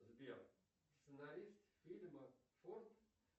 сбер сценарист фильма форд